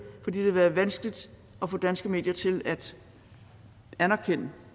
for det har været vanskeligt at få danske medier til at anerkende